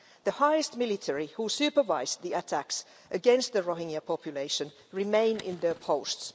The highest ranking military, who supervised the attacks against the Rohingya population, remain in their posts.